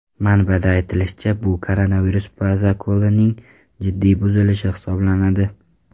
Manbada aytilishicha, bu koronavirus protokolining jiddiy buzilishi hisoblanadi.